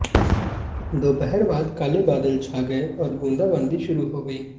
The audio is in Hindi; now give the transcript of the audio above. दोपहर बाद काले बादल छा गए और बूंदाबांदी शुरू हो गई